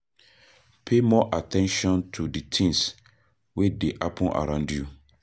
Pay more at ten tion to di things wey dey happen around you